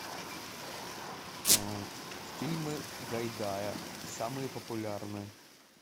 фильмы гайдая самые популярные